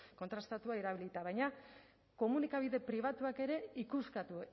kontrastatua erabilita baina komunikabide pribatuak ikuskatu